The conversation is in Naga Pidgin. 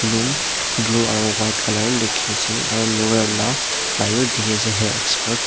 blue aru buka colour likhise aru loreal la flyer dikhi ase chuli expert .